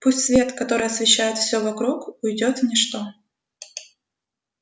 пусть свет который освещает все вокруг уйдёт в ничто